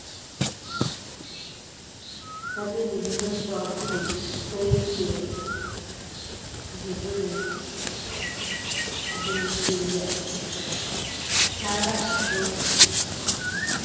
দাঁতের বিভিন্ন স্তরগুলি ক্ষয়ে গিয়ে ভেতরের জিনিস বেরিয়ে আসে খারাপ ওর